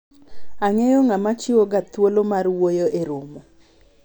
ang'eyo ng'ama chiwo ga thuolo mar wuoyo e romo